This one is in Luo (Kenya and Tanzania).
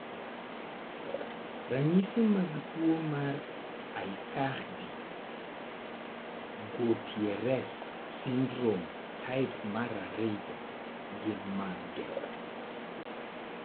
Ranyisi mag tuo mar Aicardi Goutieres syndrome type 2 gin mage?